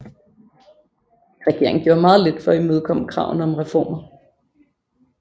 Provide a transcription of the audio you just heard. Regeringen gjorde meget lidt for at imødekomme kravene om reformer